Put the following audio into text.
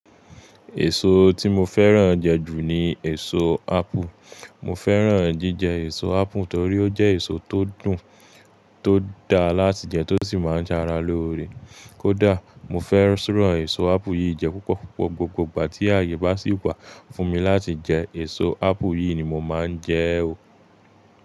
Èso tí mo fẹ́ràn jẹ jù ní èso ápù. Mo fẹ́ràn jíjẹ èso ápù torí ó jẹ́ èso tó dùn, tó da láti jẹ tó sì máa ń ṣára lóore. Kódà mo fẹ́ràn èso ápù yìí jẹ púpọ̀, gbogbo ìgbà tí àyè bá sì wà fún mi láti jẹ èso ápù yìí ni mo máa ń jẹ ẹ ò.